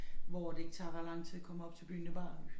Hvor at det ikke tager ret lang tid at komme op til byen det bare